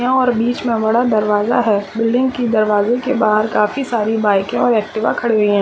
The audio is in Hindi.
और बिच में दरवजा है बिल्डिंग की दरवाजे के बहार काफी सारी बाइके और एक्टिव खड़ी हुई है।